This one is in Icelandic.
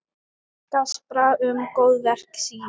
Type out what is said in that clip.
Gaspra um góðverk sín.